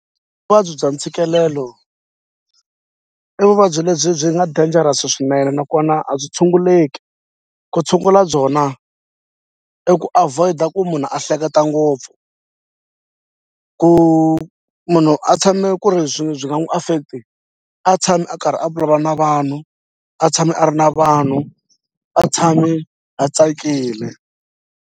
Vuvabyi bya ntshikelelo i vuvabyi lebyi byi nga dangerous swinene nakona a byi tshunguleki. Ku tshungula byona i ku avoid-a ku munhu a hleketa ngopfu ku munhu a tshame ku ri byi byi nga n'wi affect-i a tshami a karhi a vulavula na vanhu a tshami a ri na vanhu a tshami a tsakile.